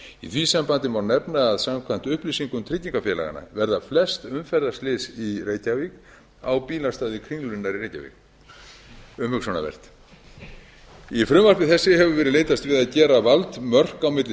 í því sambandi má nefna að samkvæmt upplýsingum tryggingafélaganna verða flest umferðarslys í reykjavík á bílastæði kringlunnar í reykjavík umhugsunarvert í frumvarpi þessu hefur verið leitast við að gera valdmörk á milli